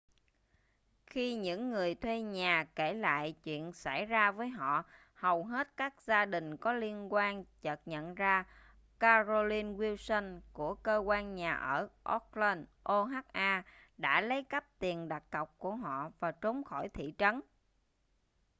khi những người thuê nhà kể lại chuyện xảy ra với họ hầu hết các gia đình có liên quan chợt nhận ra carolyn wilson của cơ quan nhà ở oakland oha đã lấy cắp tiền đặt cọc của họ và trốn khỏi thị trấn